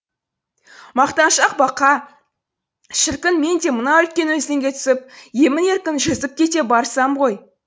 мақтаншақ бақа шіркін мен де мына үлкен өзенге түсіп емін еркін жүзіп кете барсам ғой